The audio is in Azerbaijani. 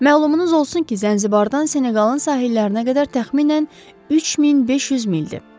Məlumunuz olsun ki, Zənzibardan Seneqalın sahillərinə qədər təxminən 3500 mildir.